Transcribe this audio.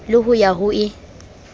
le ho ya ho e